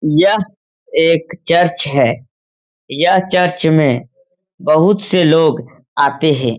यह एक चर्च है। यह चर्च में बहुत से लोग आते हे ।